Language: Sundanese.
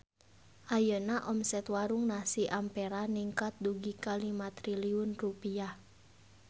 Ayeuna omset Warung Nasi Ampera ningkat dugi ka 5 triliun rupiah